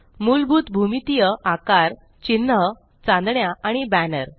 मुलभूत भूमितीय आकार चिन्ह चांदण्या आणि बॅनर